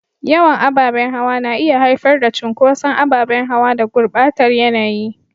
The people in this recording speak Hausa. Yawan ababen hawa na iya haifar da cunkoson ababen hawa da gurbatar yanayi.